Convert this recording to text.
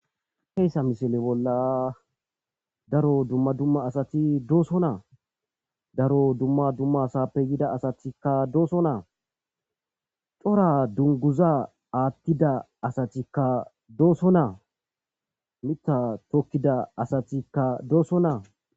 heyssa misile bolla daro dumma dumma asati dooso naa daro dumma dumma asappe yida asatikka dooso naa cora dunguza aattida asatikka doosso naa mita tokkida asatikka doosso naa